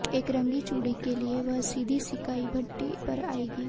एक रंगी चूड़ी के लिये वह सीधी सिंकाई भट्ठी पर आएगी